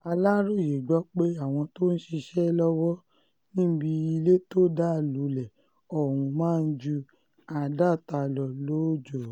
aláròyé gbọ́ pé àwọn tó ń ṣiṣẹ́ lọ́wọ́ níbi ilé tó dá lulẹ̀ ọ̀hún máa ń ju àádọ́ta lọ lóòjọ́